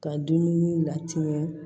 Ka dumuni latiɲɛ